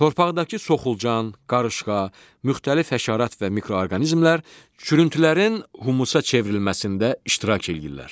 Torpaqdakı soxulcan, qarışqa, müxtəlif həşərat və mikroorqanizmlər çürüntülərin humusa çevrilməsində iştirak eləyirlər.